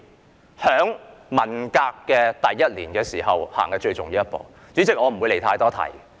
這事發生在文革的第一年，也是最重要的一步。